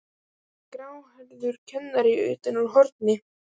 sagði gráhærður kennari utan úr horni.